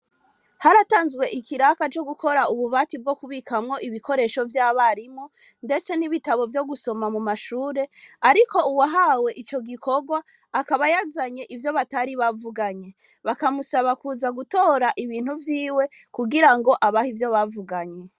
Haratanzwe ikiraka co gukora ububati bwo kubikamwo ibikoresho vy'abarimo, ndetse n'ibitabo vyo gusoma mu mashure, ariko uwahawe ico gikorwa akabayazanye ivyo batari bavuganye bakamusaba kuza gutora ibintu vyiwe kugira ngo abaha ivyo bavuganye.